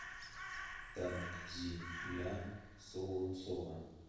танзиля солонцова